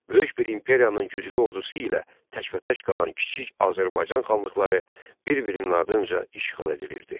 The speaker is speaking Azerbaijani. Böyük bir imperiyanın güclü ordusu ilə təkbətək qalan kiçik Azərbaycan xanlıqları bir-birinin ardınca işğal edilirdi.